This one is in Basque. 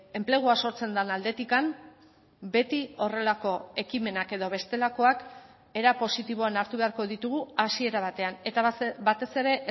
enplegua sortzen den aldetik beti horrelako ekimenak edo bestelakoak era positiboan hartu beharko ditugu hasiera batean eta batez ere